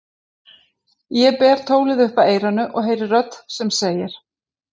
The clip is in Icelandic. Ég ber tólið upp að eyranu og heyri rödd sem segir